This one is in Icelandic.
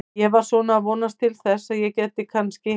Ég var svona að vonast til þess að ég gæti kannski.